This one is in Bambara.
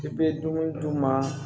I bɛ dumuni d'u ma